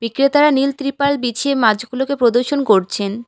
বিক্রেতারা নীল ত্রিপল বিছিয়ে মাছগুলোকে প্রদর্শন করছেন।